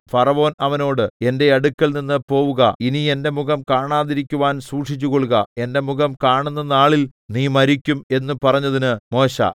ഫറവോൻ അവനോട് എന്റെ അടുക്കൽനിന്ന് പോകുക ഇനി എന്റെ മുഖം കാണാതിരിക്കുവാൻ സൂക്ഷിച്ചുകൊള്ളുക എന്റെ മുഖം കാണുന്ന നാളിൽ നീ മരിക്കും എന്ന് പറഞ്ഞതിന് മോശെ